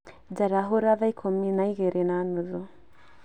njarahura thaa ikũmi na igĩrĩ na nuthu